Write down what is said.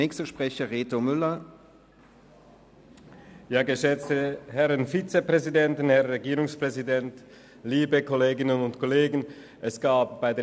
Es gab bei derSP-JUSO-PSA verschiedene Einzelsprecherinnen und -sprecher.